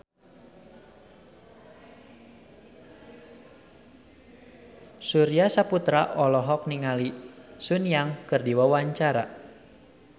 Surya Saputra olohok ningali Sun Yang keur diwawancara